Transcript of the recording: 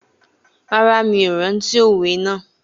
Rárá, mi ò rántí òwe náà